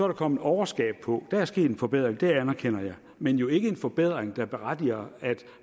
der kommet overskab på der er sket en forbedring det anerkender jeg men jo ikke en forbedring der berettiger at